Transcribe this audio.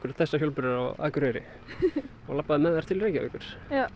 þessar hjólbörur á Akureyri og labbaði með þær til Reykjavíkur